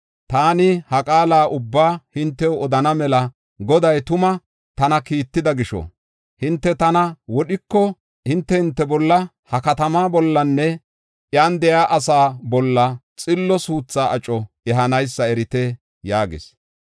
Taani ha qaala ubbaa hintew odana mela Goday tuma tana kiitida gisho, hinte tana wodhiko, hinte hinte bolla, ha katama bollanne iyan de7iya asaa bolla xillo suutha aco ehanaysa erite” yaagis.